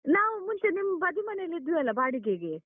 ನಾವು ಮುಂಚೆ ನಿಮ್ ಬದಿ ಮನೆಯಲ್ಲಿ ಇದ್ವಲ್ಲ ಬಾಡಿಗೆಗೆ.